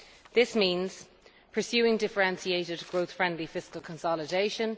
This means pursuing differentiated, growth friendly fiscal consolidation